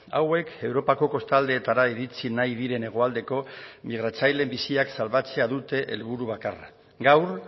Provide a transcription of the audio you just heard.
hauek europako kostaldeetara iritsi nahi diren hegoaldeko migratzaileen biziak salbatzea dute helburu bakarra gaur